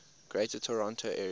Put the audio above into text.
greater toronto area